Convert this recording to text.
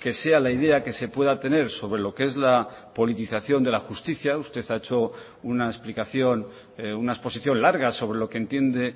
que sea la idea que se pueda tener sobre lo que es la politización de la justicia usted ha hecho una explicación una exposición larga sobre lo que entiende